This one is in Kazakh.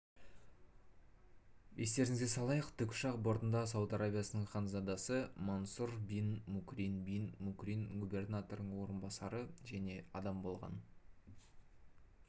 естеріңізге салайық тікұшақ бортындаіауд арабиясының ханзадасы мансұр бин мукрин бин мукрин губернаторының орынбасары және адам болған